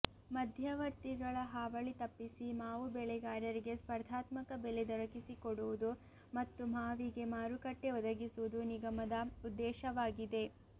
ಮಧ್ಯವರ್ತಿಗಳ ಹಾವಳಿ ತಪ್ಪಿಸಿ ಮಾವು ಬೆಳೆಗಾರರಿಗೆ ಸ್ಪರ್ಧಾತ್ಮಕ ಬೆಲೆ ದೊರಕಿಸಿಕೊಡುವುದು ಮತ್ತು ಮಾವಿಗೆ ಮಾರುಕಟ್ಟೆ ಒದಗಿಸುವುದು ನಿಗಮದ ಉದ್ದೇಶವಾಗಿದೆ